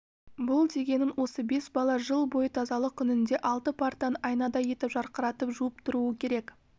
бұл дегенің осы бес бала жыл бойы тазалық күнінде алты партаны айнадай етіп жарқыратып жуып тұруы керек